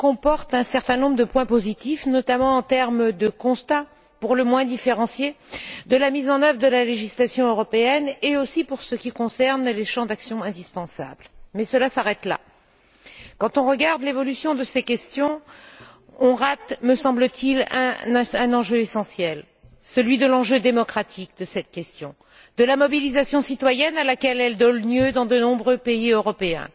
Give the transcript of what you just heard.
Monsieur le Président, le rapport qui nous est soumis comporte un certain nombre de points positifs, notamment quant au constat pour le moins différencié de la mise en œuvre de la législation européenne et aussi pour ce qui concerne les champs d'action indispensables. Mais cela s'arrête là. Quand on regarde l'évolution de ces questions, on rate, me semble t il, qui est l'enjeu essentiel, qui est l'enjeu démocratique de cette question, l'enjeu de la mobilisation citoyenne à laquelle elle donne lieu dans de nombreux pays européens,